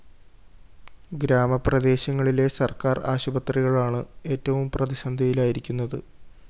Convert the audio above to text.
ഗ്രാമ പ്രദേശങ്ങളിലെ സര്‍ക്കാര്‍ ആശുപത്രികളാണ് എറ്റവും പ്രതിസന്ധിയിലായിരിക്കുന്നത്